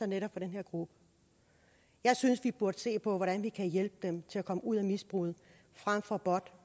netop den her gruppe jeg synes at vi burde se på hvordan vi kan hjælpe dem til at komme ud af misbruget frem for